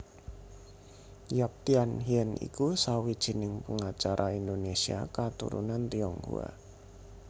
Yap Thiam Hien iku sawijining pengacara Indonésia katurunan Tionghoa